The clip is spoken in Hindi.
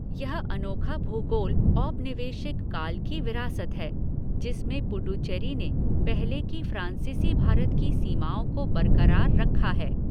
यह अनोखा भूगोल औपनिवेशिक काल की विरासत है जिसमें पुडुचेरी ने पहले की फ़्रांसीसी भारत की सीमाओं को बरकरार रखा है।